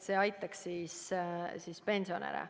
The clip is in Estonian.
See peab aitama pensionäre.